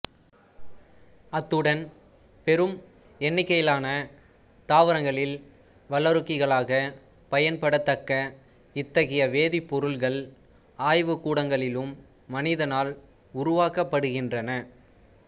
அத்துடன் பெரும் எண்ணிக்கையிலான தாவரங்களில் வளரூக்கிகளாகப் பயன்படத்தக்க இத்தகைய வேதிப்பொருட்கள் ஆய்வுகூடங்களிலும் மனிதனால் உருவாக்கப்படுகின்றன